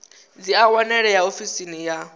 dzi a wanalea ofisini ya